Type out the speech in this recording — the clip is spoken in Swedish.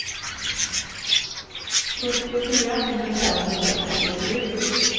sjuttiofyra tusen femhundrafemtiosju